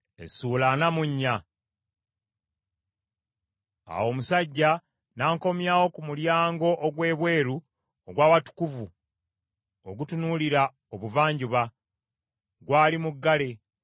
Awo omusajja n’ankomyawo ku mulyango ogw’ebweru ogw’Awatukuvu ogutunuulira obuvanjuba; gwali muggale.